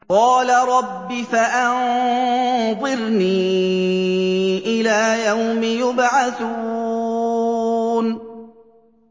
قَالَ رَبِّ فَأَنظِرْنِي إِلَىٰ يَوْمِ يُبْعَثُونَ